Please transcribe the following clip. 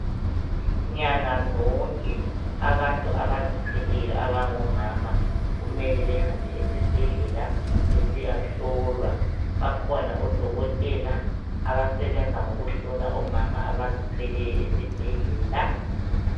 Nyanga zonke abantu abazithweleyo abangomama kumele bahambe esibhedlela besiyahlolwa, bakhona odokotela abasebenza ngokuhlola omama abazithwelayo esibhedlela.